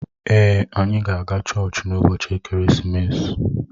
Èé, anyị ga-aga chọọchị n'ụbọchị ekeresimesi.